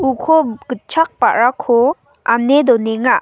uko gitchak ba·rako ane donenga.